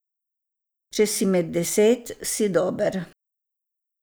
Če si med deset, si dober.